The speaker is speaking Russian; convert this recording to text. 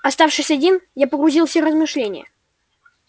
оставшись один я погрузился в размышления